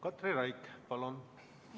Katri Raik, palun!